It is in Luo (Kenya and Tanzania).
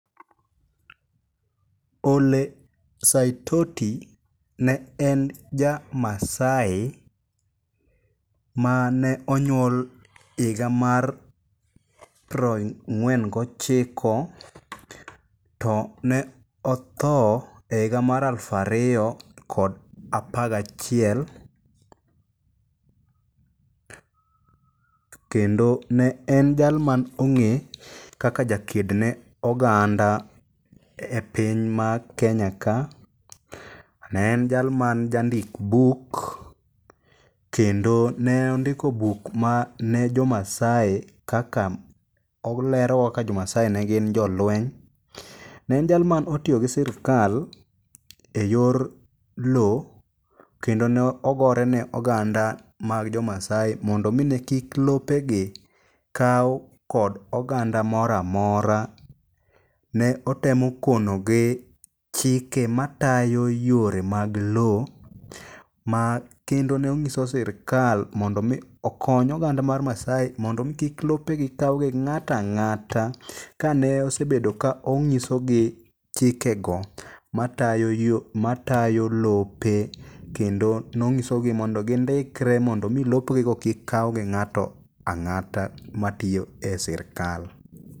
Ole Saitoti ne e ja Maasai mane onywol higa mar piero ang'wen gochiko to ne otho e higa ma alufu ariro kod apagachiel. Kendo ne en jal ma ne ong'e kaka ja ked ne oganda e piny mar Kenya ka. Ne en jalma jandik buk. Kendo ne ondiko buk ma ne jo Maasai kaka olero kaka jo Maasai ne gin jo lweny. Ne en jal mane otiyo gi sirkal e yor lo kendo ne ogore ne oganda mag jo Maasai mondo omi ni kik lopegi kaw kod oganda moro amora. Ne otemo konogi chike matayo yore mag lo ma kendo ne onyiso sirkal mondo omi kony oganda mar Maasai mondo imi kik lopegi kaw gi ng'ato ang'ata kane osebedo ka onyisogi chikego matayo lope. Kendo nonyisogi mondo gindikre mondo omi lopegigo kik kaw gi ng'ato ang'ata matiyo e sirkal.